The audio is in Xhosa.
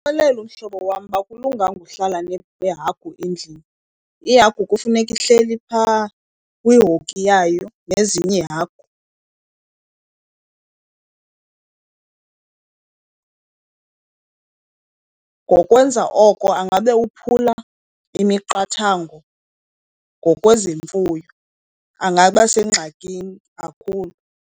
Ndingamxelela umhlobo wam akulunganga uhlala nehagu endlini, ihagu kufuneka ihleli phaa kwihoki yayo nezinye iihagu. Ngokwenza oko angabe uphula imiqathango ngokwezemfuyo, angaba sengxakini kakhulu.